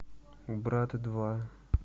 брат два